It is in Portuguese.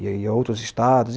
e outros estados.